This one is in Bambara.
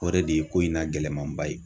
O yɛrɛ de ye ko in na gɛlɛmanba ye.